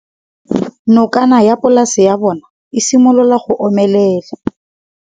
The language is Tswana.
Nokana ya polase ya bona, e simolola go omelela.